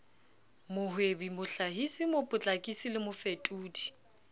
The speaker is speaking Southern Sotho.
mohwebi mohlahisi mopotlakisi le mofetodi